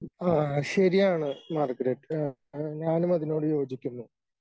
ആ ശരിയാണ് മാർഗരറ്റ് ആ ഞാനും അതിനോട് യോജിക്കുന്നു.